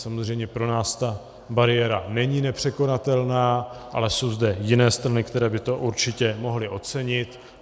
Samozřejmě pro nás ta bariéra není nepřekonatelná, ale jsou zde jiné strany, které by to určitě mohly ocenit.